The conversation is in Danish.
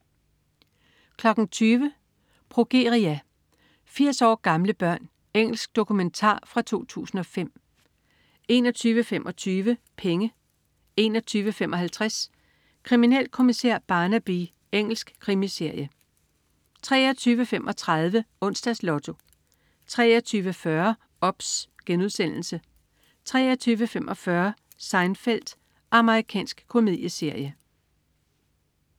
20.00 Progeria. 80 år gamle børn. Engelsk dokumentar fra 2005 21.25 Penge 21.55 Kriminalkommissær Barnaby. Engelsk krimiserie 23.35 Onsdags Lotto 23.40 OBS* 23.45 Seinfeld. Amerikansk komedieserie